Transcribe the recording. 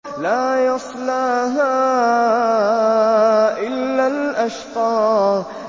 لَا يَصْلَاهَا إِلَّا الْأَشْقَى